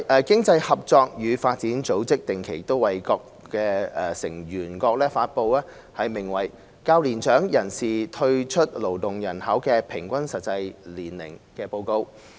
經濟合作與發展組織定期為各成員國發布名為"較年長人士退出勞動人口的平均實際年齡"的指標。